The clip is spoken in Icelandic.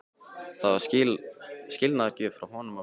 Það var skilnaðargjöf frá honum og mömmu.